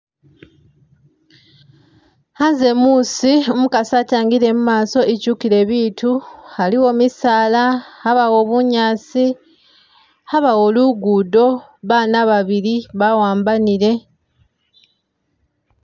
Khanze muusi umukaasi atangile mumaso ityukile biitu, aliwo misaala abawo bunyaasi, abaawo lugudo , baana babili bawambanile.